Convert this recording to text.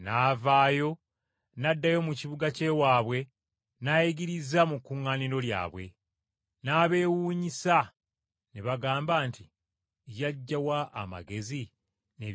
n’addayo mu kibuga ky’ewaabwe n’ayigiriza mu kuŋŋaaniro lyabwe. N’abeewuunyisa ne bagamba nti, “Yaggya wa amagezi n’ebyamagero ebyo?”